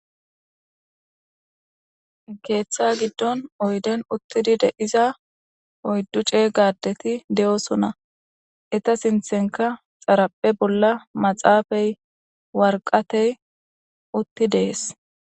Geeththa giddon oyden uttidide iza oyddu cee gadeti de'osona eta sinthenka xaraphe bolla maxaafey warqatey utti dees.